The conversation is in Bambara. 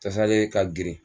Tasale ka girin